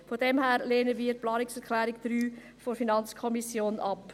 Daher lehnen wir die Planungserklärung 3 der FiKo ab.